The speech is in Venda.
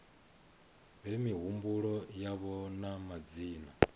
fhe mihumbulo yavho na madzina